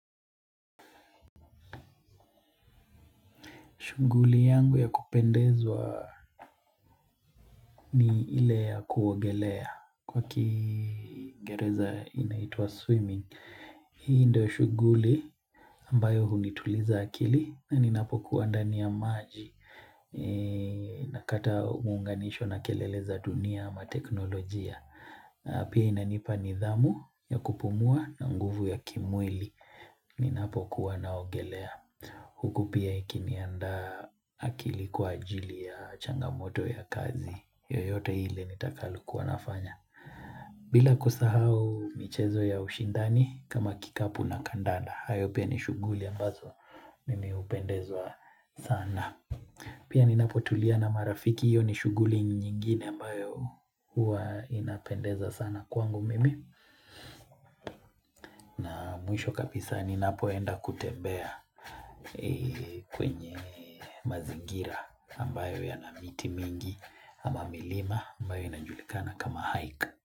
Shughuli yangu ya kupendezwa ni ile ya kuogelea kwa kiingereza inaitwa swimming. Hii ndio shunguli ambayo hunituliza akili na ninapokuwa ndani ya maji nakata muunganisho na kelele za dunia ama teknolojia. Pia inanipa nidhamu ya kupumua na nguvu ya kimwili ninapokuwa naogelea. Huku pia ikiniandaa akili kwa ajili ya changamoto ya kazi yoyote ile nitakalokuwa nafanya bila kusahau michezo ya ushindani kama kikapu na kandanda. Hayo pia ni shuguli ambazo mimi upendezwa sana Pia ninapotulia na marafiki hio ni shuguli nyingine ambayo huwa inapendeza sana kwangu mimi Mwisho kabisa ninapoenda kutembea kwenye mazingira ambayo yana miti mingi ama milima ambayo inajulikana kama hike.